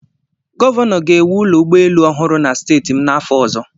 Gọvanọ ga-ewu ụlọ ụgbọelu ọhụrụ na steeti m n'afọ ọzọ.